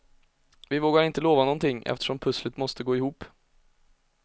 Vi vågar inte lova någonting, eftersom pusslet måste gå ihop.